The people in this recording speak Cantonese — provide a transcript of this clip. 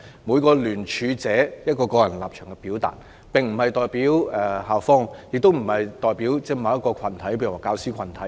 每位聯署者表達的個人立場並不代表校方，亦不代表某些教師或學生群體。